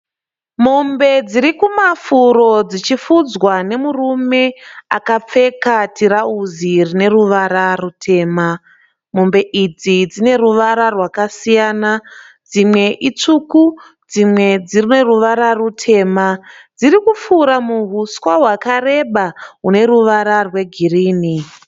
Mombe dzirikumafuro dzichifudzwa nemurume akapfeka tirauzi rine ruvara rutema. Mombe idzi dzineruvara rwakasiyana. Dzimwe itsvuku, dzimwe dzimwe dzineruvara rutema. Dzirikupfura muhuswa rwakareba rwune ruvara rwegirinhi.